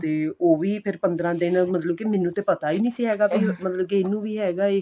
ਤੇ ਉਹ ਵੀ ਫੇਰ ਪੰਦਰਾਂ ਦਿਨ ਮੈਨੂੰ ਤੇ ਪਤਾ ਈ ਨੀਂ ਸੀ ਹੈਗਾ ਵੀ ਮਤਲਬ ਕੀ ਇਹਨੂੰ ਵੀ ਹੈਗਾ ਏ